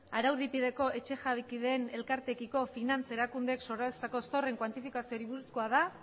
araubidepeko etxejabekideen elkarteekiko finantza erakundeek sorrarazitako zorraren kuantifikazioari buruzkoa da